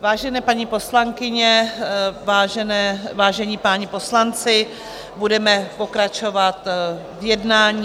Vážené paní poslankyně, vážení páni poslanci, budeme pokračovat v jednání.